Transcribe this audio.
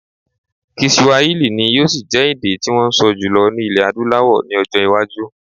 Kiswahili ni yóò ṣì jẹ́ èdè tí wọ́n ń sọ jùlọ ní ilẹ̀ Adúláwọl ní ọjọ́-iwájú.